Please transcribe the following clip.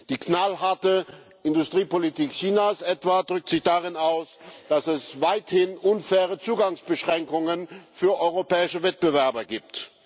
Die knallharte Industriepolitik Chinas etwa drückt sich darin aus, dass es weithin unfaire Zugangsbeschränkungen für europäische Wettbewerber gibt.